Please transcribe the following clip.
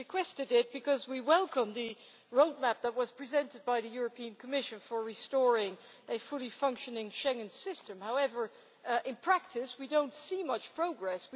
We requested it because we welcome the roadmap that was presented by the Commission for restoring a fully functioning Schengen system. However, in practice we do not see much progress.